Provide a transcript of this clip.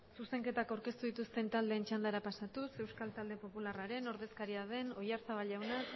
zuzenketak aurkeztu dituzten taldeen txandara pasatuz euskal talde popularraren ordezkaria den oyarzabal jaunak